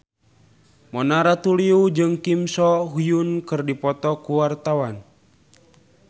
Mona Ratuliu jeung Kim So Hyun keur dipoto ku wartawan